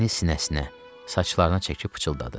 Əlini sinəsinə, saçlarına çəkib pıçıldadı.